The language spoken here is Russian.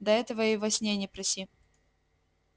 да этого и во сне не проси